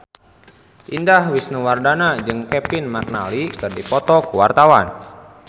Indah Wisnuwardana jeung Kevin McNally keur dipoto ku wartawan